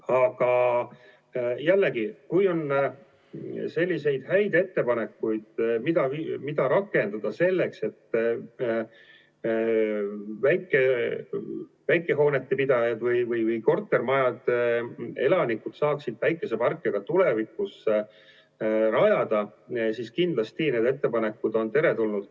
Aga jällegi, kui on häid ettepanekuid, mida rakendada selleks, et väikehoonete pidajad ja kortermajade elanikud saaksid päikeseparke ka tulevikus rajada, siis kindlasti need ettepanekud on teretulnud.